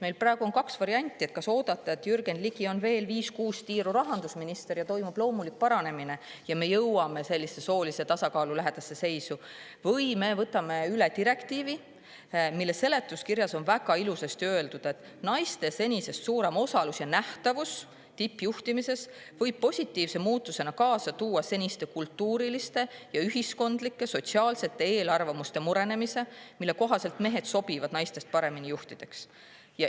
Meil on praegu kaks varianti: kas oodata, et Jürgen Ligi on veel viis või kuus tiiru rahandusminister ja toimub loomulik paranemine ja me jõuame soolise tasakaalu lähedasse seisu, või me võtame üle direktiivi, mille seletuskirjas on väga ilusasti öeldud: "Naiste senisest suurem osalus ja nähtavus võib tippjuhtimises positiivse muutusena kaasa tuua seniste kultuuriliste ja ühiskondlike sooliste eelarvamuste murenemise, mille kohaselt mehed sobivad naistest paremini juhtideks.